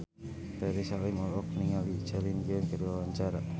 Ferry Salim olohok ningali Celine Dion keur diwawancara